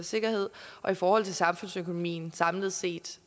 sikkerhed og i forhold til samfundsøkonomien samlet set